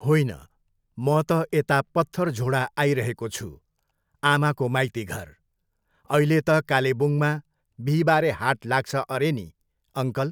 होइन, म त यता पत्थरझोडा आइरहेको छु, आमाको माइतीघर। अहिले त कालेबुङमा बिहिबारे हाट लाग्छ अरे नि, अङ्कल?